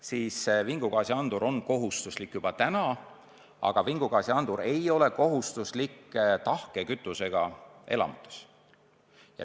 Seega vingugaasiandur on kohustuslik juba praegu, aga mitte tahke kütusega köetavates elamutes.